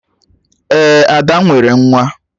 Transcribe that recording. Ee, Ada nwere nwa